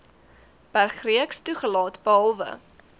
bergreeks toegelaat behalwe